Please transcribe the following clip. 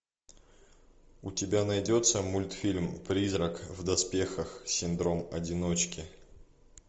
у тебя найдется мультфильм призрак в доспехах синдром одиночки